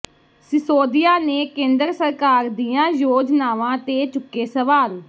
ਸਿਸੋਦੀਆ ਨੇ ਕੇਂਦਰ ਸਰਕਾਰ ਦੀਆਂ ਯੋਜਾਨਵਾਂ ਦੇ ਚੁੱਕੇ ਸਵਾਲ